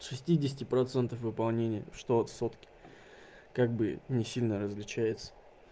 с шестидесяти процентов выполнения что сотки как бы не сильно различается